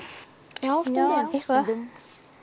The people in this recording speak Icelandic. já já stundum